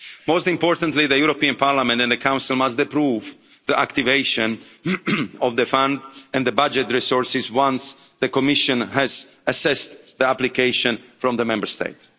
it. Most importantly, the European Parliament and the Council must approve the activation of the Fund and the budget resources once the Commission has assessed the application from the Member State.